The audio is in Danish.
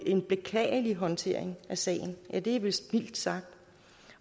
en beklagelig håndtering af sagen ja det er vist mildt sagt